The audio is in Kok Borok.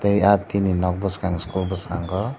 ah tini nog buskang eskol boskango.